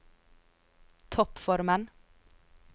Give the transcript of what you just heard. toppformen